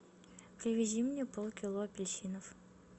привези мне полкило апельсинов